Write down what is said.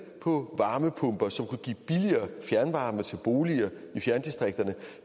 på varmepumper som kunne give billigere fjernvarme til boliger i fjerndistrikterne